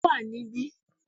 Ó wà ní bí